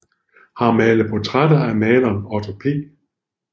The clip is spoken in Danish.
Har malet portrætter af maleren Otto P